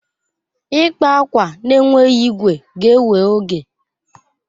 Ịkpa akwa na-enweghị igwe ga-ewe oge.